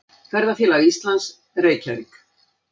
Ferðafélag Íslands, Reykjavík.